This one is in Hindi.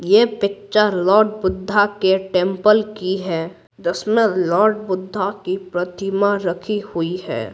यह पिक्चर लॉर्ड बुद्धा के टेंपल की है जिसमें लॉर्ड बुद्धा की प्रतिमा रखी हुई है।